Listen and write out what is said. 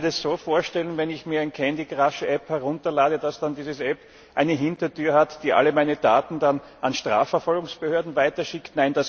Kann ich mir das so vorstellen, dass, wenn ich mir ein Candycrush App herunterlade, dann diese App eine Hintertür hat, die alle meine Daten dann an Strafverfolgungsbehörden weiterschickt?